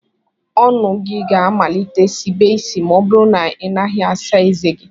Ọnụ gị ga-amalite sibe isi ma ọ bụrụ na ị naghị asa ezé gị